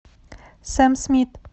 сэм смит